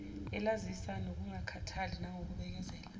elasiza ngokungakhathali nangokubekezela